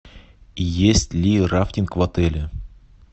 есть ли рафтинг в отеле